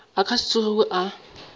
a ka se tsogego a